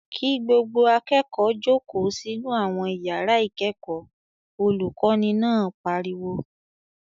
"Kí gbogbo akẹ́kọ̀ọ́ jókòó sínú àwọn ìyàrá ìkẹ́kọ̀ọ́!" Olùkọ́ní náà pariwo.